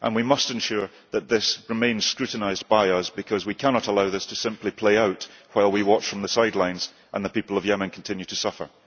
and we must ensure that this remains scrutinised by us, because we cannot allow this to simply play out while we watch from the sidelines and the people of Yemen continue to suffer.